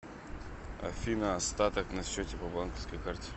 афина остаток на счете по банковской карте